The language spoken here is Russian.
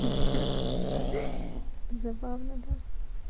хи-хи забавно да